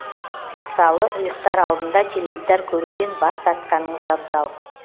мысалы ұйықтар алдында теледидар көруден бас тартқаныңыз абзал